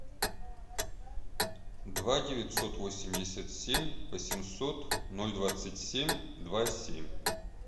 два девятьсот восемьдесят семь восемьсот ноль двадцать семь два семь